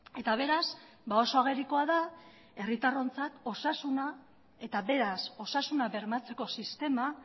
eta beraz oso agerikoa da herritarrontzat osasuna eta beraz osasuna bermatzeko sistema